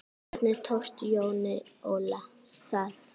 Hvernig tókst Jóni Óla það?